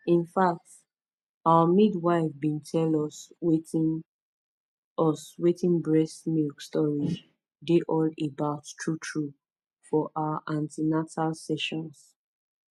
in fact our midwife been tell us wetin us wetin breast milk storage dey all about truetrue for our an ten atal sessions